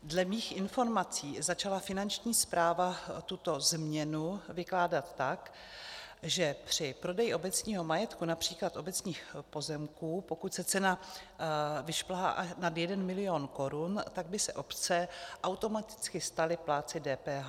Dle mých informací začala Finanční správa tuto změnu vykládat tak, že při prodeji obecního majetku, například obecních pozemků, pokud se cena vyšplhá nad 1 milion korun, tak by se obce automaticky staly plátci DPH.